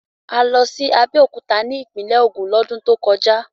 A lọ sí Abẹ́òkúta ní ìpínlẹ̀ Ògùn lọ́dún tó kọjá.